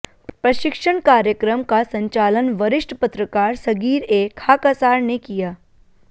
प्रशिक्षण कार्यक्रम का संचालन वरिष्ठ पत्रकार सग़ीर ए खाकसार ने किया